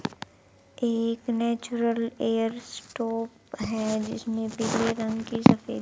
एक natural air stop है जिसमें पीले रंग की सफेद--